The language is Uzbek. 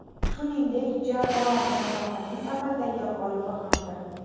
Shuningdek, jamoa musobaqaning amaldagi g‘olibi hamdir.